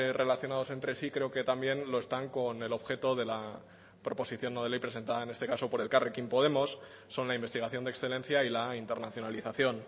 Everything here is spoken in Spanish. relacionados entre sí creo que también lo están con el objeto de la proposición no de ley presentada en este caso por elkarrekin podemos son la investigación de excelencia y la internacionalización